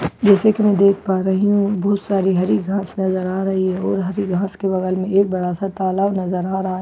जैसे कि मैं देख पा रही हूं यहां बहुत सारी हरी घास नजर आ रही है और हरी घास के बगल में एक बड़ा-सा तालाब नजर आ रहा है ।